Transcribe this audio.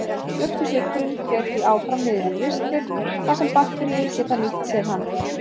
Mjólkursykurinn fer því áfram niður í ristil þar sem bakteríur geta nýtt sér hann.